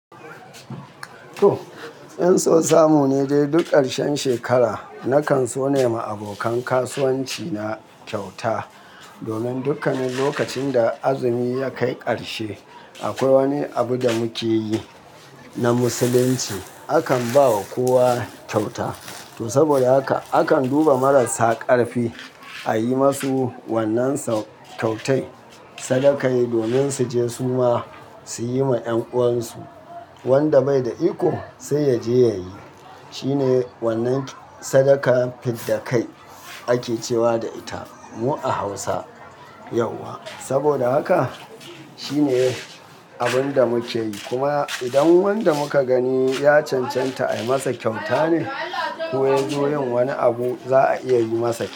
To, 'yan sosu mu ne dai duk ƙarshen shekara nakan so na yi ma abokan kasuwanci na kyauta. Domin dukkanin lokacin da azumi ya kai ƙarshe akwai wani abu da muke yi na Musulunci. Akan ba wa kowa kyauta. To saboda haka akan duba marasa ƙarfi a yi masu wannan kyautai sadakai domin su je su ma su yi ma 'yan uwansu. Wanda bai da iko sai ya je ya yi. Shine wannan sadaka fidda kai ake cewa da ita mu a Hausa yauwa. Saboda haka shine abun da muke yi. Kuma idan wanda muka gani ya cancanta a yi masa kyauta ne ko ya zo yin wani abu za a iya yi masa kyauta.